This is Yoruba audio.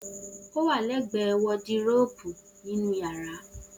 O wà lẹ gbẹ wòdíròpù ninu yàrá.